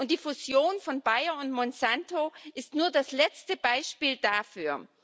Die Fusion von Bayer und Monsanto ist nur das letzte Beispiel dafür.